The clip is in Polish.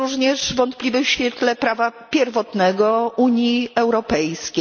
Jest również wątpliwy w świetle prawa pierwotnego Unii Europejskiej.